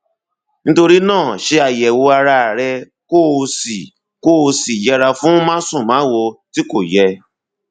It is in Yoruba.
nítorí náà ṣe àyẹwò ara rẹ kó o sì kó o sì yẹra fún másùnmáwo tí kò yẹ